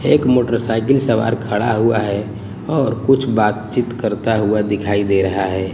एक मोटरसाइकिल सवार खड़ा हुआ है और कुछ बातचीत करता हुआ दिखाई दे रहा है।